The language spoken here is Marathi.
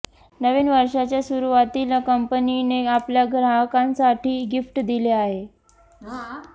नवीन वर्षाच्या सुरुवातीला कंपनीने आपल्या ग्राहकांसाठी गिफ्ट दिले आहे